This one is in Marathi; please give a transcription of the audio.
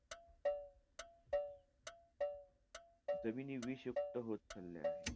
जमिनी विषयुक्त होत चालल्या आहे.